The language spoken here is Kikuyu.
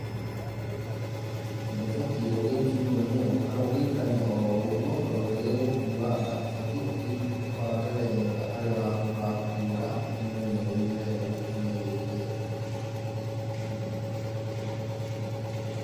Ndũbatiĩ gũgĩikia ikũnia kana gũgĩikania o ro ũguo, tondũ nĩ gĩgũkuanga, ũbatiĩ ũgĩbange weega harĩa ũrakuĩra ũkĩmenyereire wega gĩkinye gĩ kĩega.